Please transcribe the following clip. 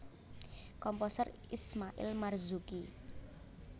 Komposer Ismail Marzuki